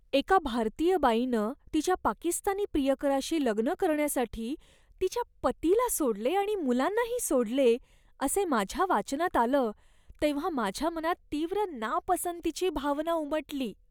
एका भारतीय बाईनं तिच्या पाकिस्तानी प्रियकराशी लग्न करण्यासाठी तिच्या पतिला सोडले आणि मुलांना ही सोडले असे माझ्या वाचनात आलं तेव्हा माझ्या मनात तीव्र नापसंतीची भावना उमटली.